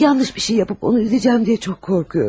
Yanlış bir şey edib onu üzərəm deyə çox qorxuram.